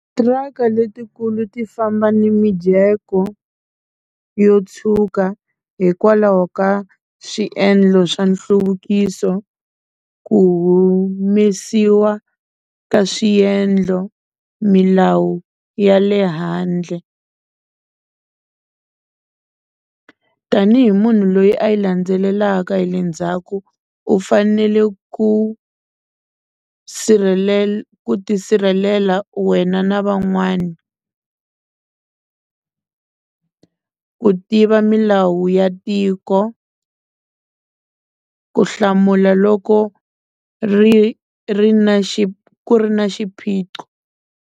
Tiraka letikulu ti famba na mijeko yo tshuka hikwalaho ka swiendlo swa nhluvukiso ku humesiwa ka swiendlo milawu ya le handle tanihi munhu loyi a yi landzelelaka hi le ndzhaku u fanele ku ku ti sirhelela wena na van'wana ku tiva milawu ya tiko ku hlamula loko ri ri na ku ri na xiphiqo.